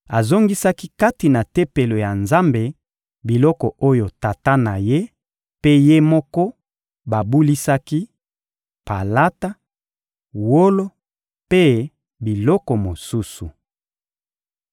azongisaki kati na Tempelo ya Nzambe biloko oyo tata na ye mpe ye moko babulisaki: palata, wolo mpe biloko mosusu.